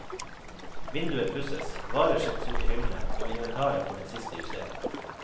Vinduer pusses, varer settes ut i hyllene og inventaret får den siste justering.